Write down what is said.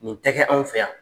Nin tɛ kɛ anw fɛ yan.